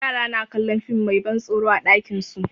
Yara na kallon fim mai ban tsoro a ɗakin su.